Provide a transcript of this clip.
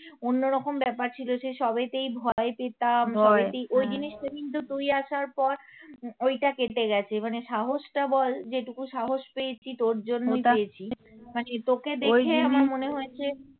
অন্যরকম ব্যাপার ছিল সে সবেতেই ভয়ে পেতাম, ওই জিনিসটা কিন্তু তুই আসার পর ঐটা কেটে গেছে মানে সাহসটা বল যেটুকু সাহস পেয়েছি তোর জন্য তা পেয়েছি মানে তোকে দেখেই আমার মনে হয়েছে